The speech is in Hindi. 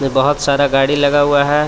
बहुत सारा गाड़ी लगा हुआ है।